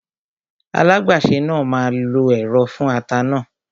Alágbàsè náà máa lo ẹ̀rọ fún ata náà